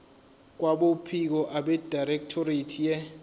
kwabophiko abedirectorate ye